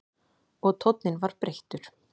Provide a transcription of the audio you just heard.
Og tónninn var breyttur.